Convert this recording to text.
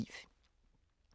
TV 2